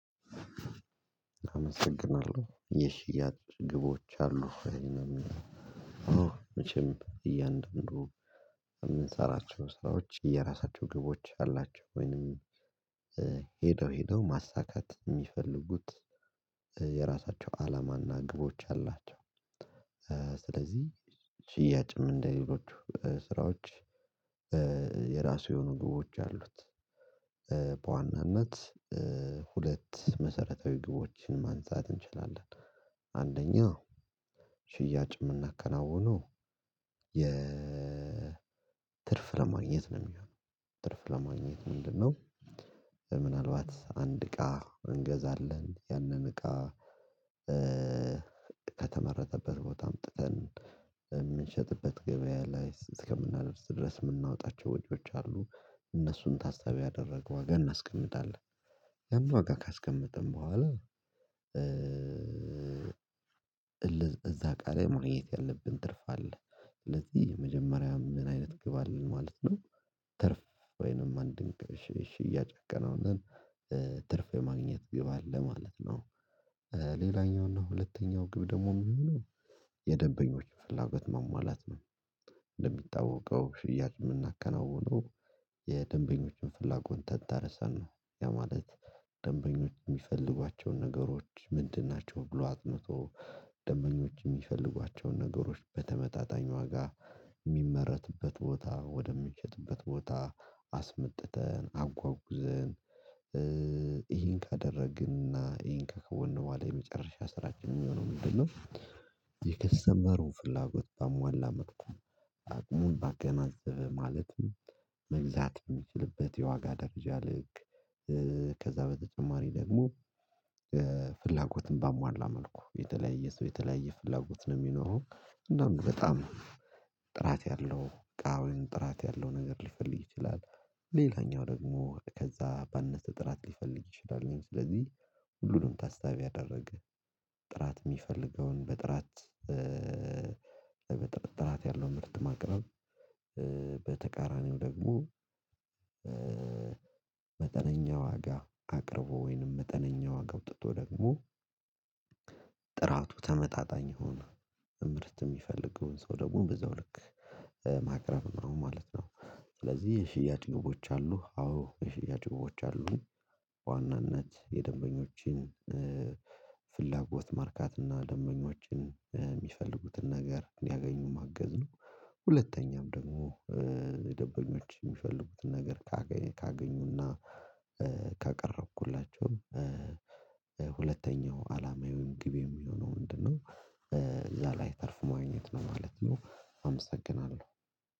አመሰግናለሁ ይህ የሽያጭ ግቦች አሉ። ይሄንን መቼም እያንዳንዱ የምንሰራቸው ስራዎች የራሳቸው ግቦች አላቸው ወይንም ሄደው ማሳካት የሚፈልጉት የራሳቸው አላማና ግቦች አላቸው። ስለዚህ ሽያጭም እንደሌሎቹ ስራዎች የራሱ የሆኑ ግቦች አሉት። በዋናነት ሁለት መሰረታዊ ግቦችን ማንሳት እንችላለን፣ አንደኛ ሽያጭ የምናከናውነው የትርፍ ለማግኘት ነው የሚሆነው። ትርፍ ለማግኘት ምንድነው ምናልባት አንድ እቃ እንገዛለን ያንን እቃ ከተመረተበት ቦታ አምጥተን የምንሸጥበት ገበያ ላይ እስከምናደርስ ድረስ የምናወጣቸው ወጆች አሉ እነሱን ታስታቢ ያደረገው ዋጋ እናስቀምጣለን። ያን ዋጋ ካስቀመጥን በኋላ እዛ እቃ ላይ ማግኘት ያለብን ትርፍ አለ። ስለዚህ መጀመሪያም ምን አይነት ግብ አለን ማለት ነው፣ ትርፍ ወይንም አንድ ሺ ሽያጭ ቢከናወን ትርፍ የማግኘት ግብ አለ ማለት ነው ሌላኛው እና ሁለተኛው ግብ ደግሞ የሚሆነው የደበኞች ፍላጐት ማሟላት ነው እንደሚታወቀው ሽያጭ የምናከናውነው የደንበኞችን ፍላጎት ተንተርሰን ነው። ያ ማለት ደንበኞች የሚፈልጓቸውን ነገሮች ምንድን ናቸው ብሎ አጥንቶ ደንበኞች የሚፈልጓቸውን ነገሮች በተመጣጣኝ ዋጋ የሚመረትበት ቦታ ወደምንሸጥበት ቦታ አስመጥተን አጓጉዘን ይሄን ካደረግን እና ይሄን ከከወን በኋላ የመጨረሻ ስራችን የሚሆነው ምንድነው የከስተመሩን ፍላጎት ባሟላ መልኩ አቅሙን ባገናዘበ ማለትም መግዛት በሚችልበት የዋጋ ደረጃ ልክ ከዛ በተጨማሪ ደግሞ ፍላጎትን ባሟላ መልኩ የተለያየ ሰው የተለያየ ፍላጎት ነው የሚኖረው እና በጣም ጥራት ያለው እቃ ወይም ጥራት ያለው ነገር ሊፈልግ ይችላል ሌላኛው ደግሞ ከዛ ባነሰ ጥራት ሊፈልግ ይችላል ስለዚህ ሁሉንም ታሳቢ ያደረገ ጥራት የሚፈልገውን በጥራት ጥራት ያለውን ምርት ማቅረብ በተቃራኒው ደግሞ መጠነኛ ዋጋ አቅርቦ ወይንም መጠነኛ ዋጋ አውጥቶ ደግሞ ጥራቱ ተመጣጣኝ የሆነ ምርት የሚፈልገውን ሰው ደግሞ በዛው ልክ ማቅረብ ነው ማለት ነው ስለዚህ የሽያጭ ግቦች አሉ አዎ የሽያጭ ግቦች አሉ በዋናነት የደንበኞችን ፍላጎት ማርካት እና ደንበኞችን የሚፈልጉትን ነገር እንዲያገኙ ማገዝ ነው ሁለተኛም ደግሞ ደምበኞች የሚፈልጉትን ነገር ካገኙና ካቀረብኩላቸው ሁለተኛው አላማዬ ወይም ግብ የሚሆነው ምንድነው እዛ ላይ ትርፍ ማግኘት ነው ማለት ነው አመሰግናለሁ